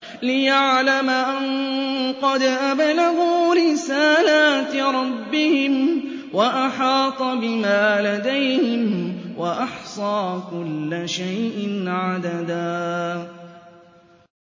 لِّيَعْلَمَ أَن قَدْ أَبْلَغُوا رِسَالَاتِ رَبِّهِمْ وَأَحَاطَ بِمَا لَدَيْهِمْ وَأَحْصَىٰ كُلَّ شَيْءٍ عَدَدًا